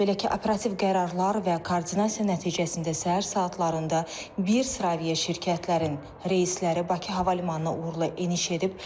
Belə ki, operativ qərarlar və koordinasiya nəticəsində səhər saatlarında bir sıra aviaşirkətlərin reysləri Bakı Hava Limanına uğurla eniş edib.